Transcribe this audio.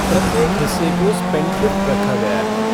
प्रत्येक हिस्से को स्पेंडथ्रिफ़्ट रखा गया है।